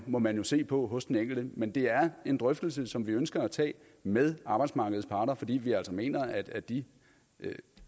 må man jo se på hos den enkelte men det er en drøftelse som vi ønsker at tage med arbejdsmarkedets parter fordi vi altså mener at de